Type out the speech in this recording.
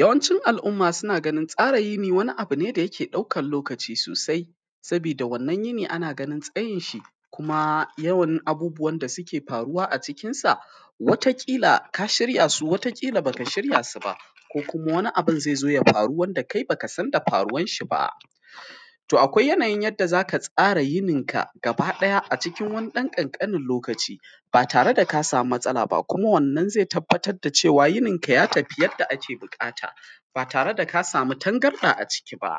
Yawanci al’umma suna ganin tsara yini wani abu ne da yake ɗaukan lokaci sosai saboda wannan yini, ana ganin tsayin shi kuma yawan abubuwan da suke faruwa a cikin sa wata kila baka shirya su ba ko kuma wani abu zai zo ya faru wanda kai baka san da faruwan shi ba, to akwai yanayin yadda zaka tsara yinin ka gaba ɗaya, a cikin wani dan ƙanƙanin lokaci ba tare da ka samu matsala ba kuma wannan zai tabbatar da cewa yinin ka ya tafi yadda ake bukata ba tare da ka samu tangarɗa a ciki ba,